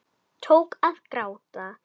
Tók að gráta.